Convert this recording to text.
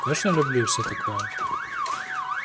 конечно люблю и всё такое